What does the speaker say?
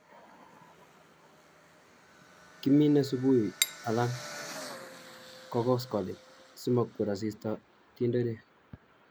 Kimine subui alan ko koskoleng' simokwer asista tenderek.